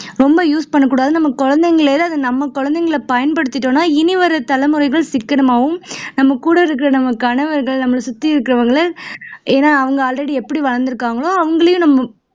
ரொம்ப use பண்ணக்கூடாதுன்னு நம்ம குழந்தைகளை நம்ம குழந்தைகளையே பயன்படுத்திகிட்டோம்னா இனி வரும் தலைமுறைகள் சிக்கனமாவும் கூட இருக்கிற நம்ம கணவர் சுத்தி இருக்கிறவங்க ஏன்னா already அவங்க எப்படி வளர்ந்திருக்கிறாங்களோ அவங்களையும்